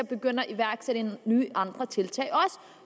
begynde at iværksætte nye og andre tiltag